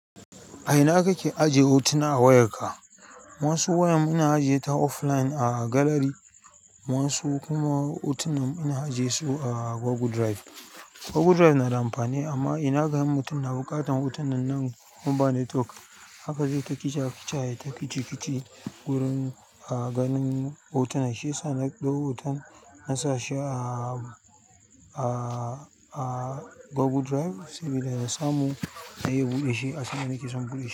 A ina kake ajiye hotuna a wayarka? Wasu wayam ina ajiye ta offline a galari, wasu kuma hotunan ina ajiyesu a Google Drive. Google Drive na da amfani amma ina ganin mutum na buƙatan hotunan nan oin ba network haka zai ta kicin kicin ya yi ta kici kici gurin ganin hotuna shiyasa na ɗau hoton nasa shi a, a, a Google Drive saboda in samu na iya buɗe shi a sandanakeke son buɗe shi.